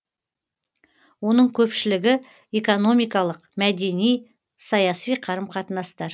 оның көпшілігі экономикалық мәдени саяси қарым қатынастар